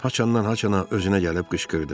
Haçandan-haçana özünə gəlib qışqırdı.